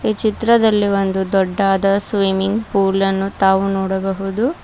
ಈ ಚಿತ್ರದಲ್ಲಿ ಒಂದು ದೊಡ್ಡಾದ ಸ್ವಿಮ್ಮಿಂಗ್ ಫೂಲ್ ನ್ನು ತಾವು ನೋಡಬಹುದು.